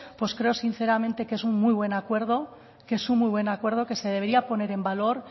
pues creo sinceramente que es un muy buen acuerdo que se debería poner en valor